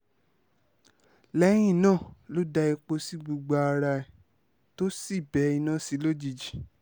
lẹ́yìn náà ló da epo sí gbogbo ara ẹ̀ tó sì bẹ iná sí i lójijì